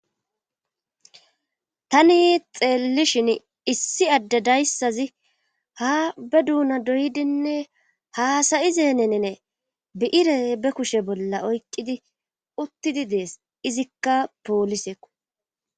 tani xeellishin issi adde dayssazi ha be duuna doydinne haasayizenenene bi'ire be kushe bolla oyqidi uttidi dees izikka pooliseko